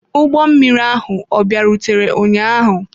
Ụgbọ mmiri ahụ ọ bịarutere ụnyaahụ.